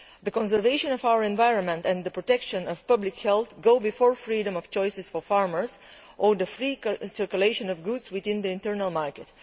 The conservation of our environment and the protection of public health go before freedom of choice for farmers or the free circulation of goods within the internal market.